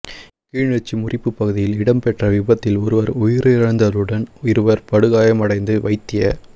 கிளிநொச்சி முறிப்பு பகுதியில் இடம்பெற்ற விபத்தில் ஒருவர் உயிரிழந்ததுடன் இருவர் படுகாயமடைந்து வைத்திய